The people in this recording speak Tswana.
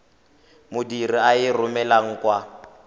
modirisi a e romelang kwa